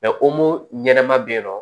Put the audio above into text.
ɲɛnɛma be yen nɔ